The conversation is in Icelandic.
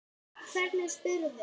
Hvernig spyrðu??